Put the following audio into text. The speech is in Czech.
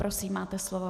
Prosím, máte slovo.